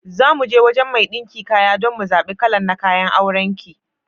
Zamuje wajan mai ɗinka kayan dan mu zaɓe kalan na kayan auran ki.